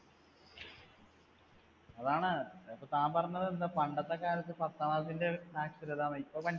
അതാണ് ഇപ്പ താൻ പറഞ്ഞത് എന്ത്, പണ്ടത്തെ കാലത്ത് പത്താം class ന്‍ടെ സാക്ഷരത